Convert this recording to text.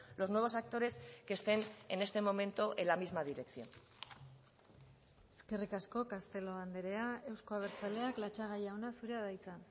los nuevos actores que estén en este momento en la misma dirección eskerrik asko castelo andrea euzko abertzaleak latxaga jauna zurea da hitza